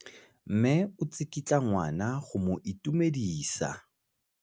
Mme o tsikitla ngwana go mo itumedisa.